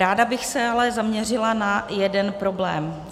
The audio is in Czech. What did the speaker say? Ráda bych se ale zaměřila na jeden problém.